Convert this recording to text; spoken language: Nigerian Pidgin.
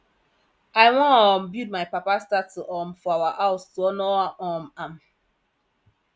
i wan um build my papa statue um for our house to honor um am